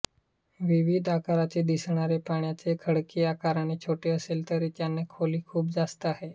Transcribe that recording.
विविध आकाराचे दिसणारे पाण्याचे खळगे आकाराने छोटे असले तरी त्यांची खोली खूप जास्त आहे